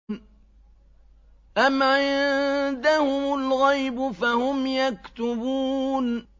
أَمْ عِندَهُمُ الْغَيْبُ فَهُمْ يَكْتُبُونَ